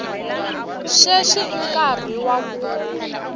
sweswi i nkarhi wa ku